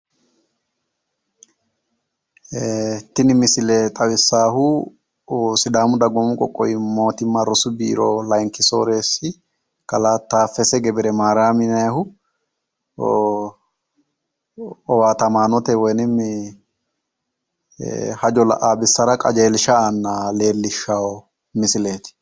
Tini misile xawissahu sidaamu dagoomi qoqqowi mootimma rosu borro layiinki soreessi kalaa taafese gebire mariyaami yinannihu owaatamaanote qajeelsha aanna leellishawo misileeti.